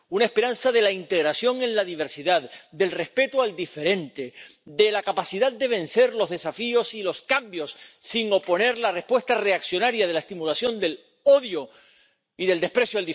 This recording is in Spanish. La esperanza de la integración en la diversidad, del respeto al diferente, de la capacidad de vencer los desafíos y los cambios sin oponer la respuesta reaccionaria de la estimulación del odio y del desprecio